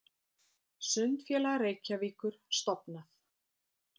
Sundfélag Reykjavíkur stofnað.